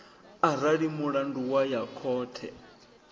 arali mulandu wa ya khothe